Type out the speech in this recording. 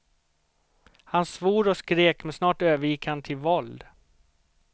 Han svor och skrek men snart övergick han till våld.